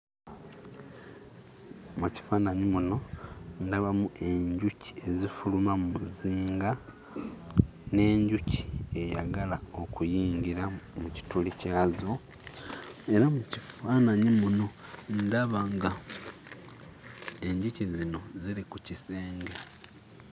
Mu kifaananyi muno ndabamu enjuki ezifuluma mu muzinga n'enjuki eyagala okuyingira mu kituli kyazo, era mu kifaananyi muno ndaba ng'enjuki zino ziri ku kisenge.